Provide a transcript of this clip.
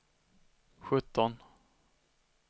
sjutton